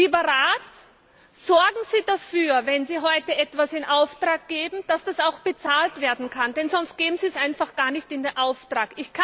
Lieber Rat, sorgen Sie dafür, wenn Sie heute etwas in Auftrag geben, dass das auch bezahlt werden kann, sonst geben Sie es besser gar nicht in Auftrag.